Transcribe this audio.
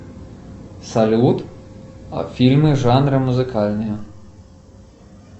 салют фильмы жанра музыкальные